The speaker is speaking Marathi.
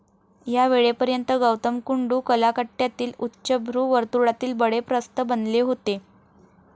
या वेळेपर्यंत गौतम कुंडू कलाकट्ट्यातील उच्चभ्रू वर्तुळातील बडे प्रस्थ बनले होते.